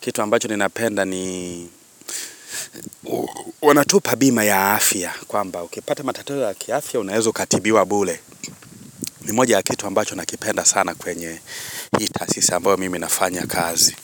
Kitu ambacho ninapenda ni wanatupa bima ya afya kwamba ukipata matatua ya kiafya unaeza ukatibiwa bure. Ni moja ya kitu ambacho nakipenda sana kwenye hii tasisa ambao mimi nafanya kazi.